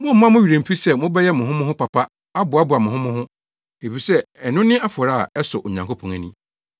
Mommma mo werɛ mmfi sɛ mobɛyɛ mo ho mo ho papa aboaboa mo ho mo ho, efisɛ ɛno ne afɔrebɔ a ɛsɔ Onyankopɔn ani.